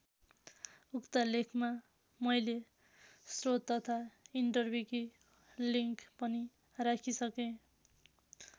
उक्त लेखमा मैले श्रोत तथा इन्टरविकि लिङ्क पनि राखिसके।